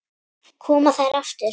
Koma þær aftur?